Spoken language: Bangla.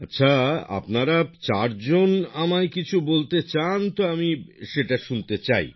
আচ্ছা আপনারা চারজন যদি আমায় কিছু বলতে চান তো আমি সেটা শুনতে চাই